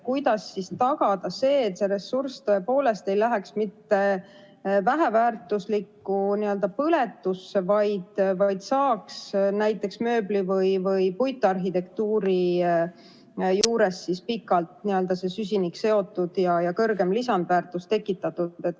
Kuidas siis tagada see, et see ressurss tõepoolest ei läheks mitte väheväärtuslikku n‑ö põletusse, vaid näiteks mööbli või puitarhitektuuri juures saaks pikalt see süsinik seotud ja rohkem lisandväärtust tekitatud?